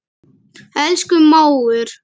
Elsku mágur.